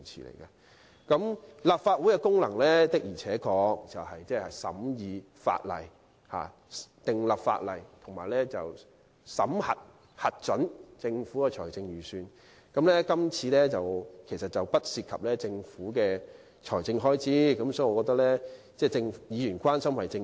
立法會的功能是審議法例、訂立法例，以及審核和核准政府的財政預算，而今次的確並不涉及政府的財政開支，我覺得議員表示關心實屬正常。